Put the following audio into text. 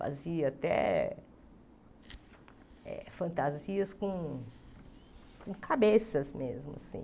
Fazia até eh fantasias com... com cabeças mesmo, assim.